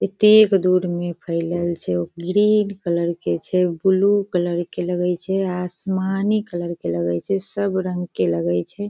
एतेक दूर में फैलल छै ओ ग्रीन कलर के छै बूलू कलर के लगे छै आसमानी कलर के लगे छै सब रंग के लगे छै।